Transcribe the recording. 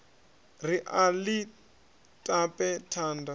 ri a ḽi tape thanda